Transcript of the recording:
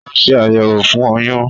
Ó ṣe àyẹ̀wò fún oyún